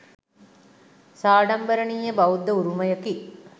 සාඩම්බරණීය බෞද්ධ උරුමයකි.